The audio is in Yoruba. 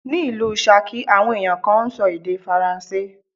Ní ìlú Ṣakí, àwọn ẹ̀yàn kan ń sọ èdè Faransé.